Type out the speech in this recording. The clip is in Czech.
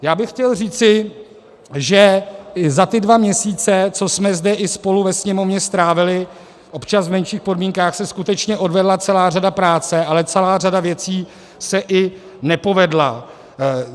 Já bych chtěl říci, že za ty dva měsíce, co jsme zde i spolu ve Sněmovně strávili, občas v menších podmínkách, se skutečně odvedla celá řada práce, ale celá řada věcí se i nepovedla.